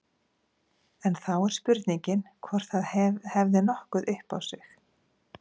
En þá er spurningin hvort það hefði nokkuð upp á sig.